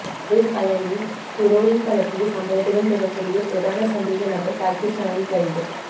கொள்கலனின் heroin கடத்திய சம்பவத்துடன் தொடர்புடைய பிரதான சந்தேக நபர் பாகிஸ்தானில் கைது